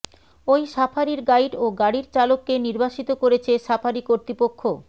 ওই সাফারির গাইড ও গাড়ির চালককে নির্বাসিত করেছে সাফারি কর্তৃপক্ষ